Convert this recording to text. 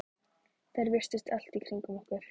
Þær virtust allt í kringum okkur.